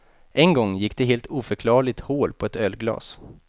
En gång gick det helt oförklarligt hål på ett ölglas.